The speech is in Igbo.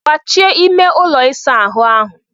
Gbachie ime ụlọ ịsa ahụ áhụ̀!